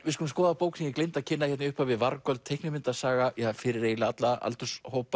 við skulum skoða bók sem ég gleymdi að kynna í upphafi vargöld teiknimyndasaga fyrir eiginlega alla aldurshópa